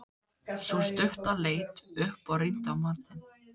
Sú stutta leit upp og rýndi á manninn.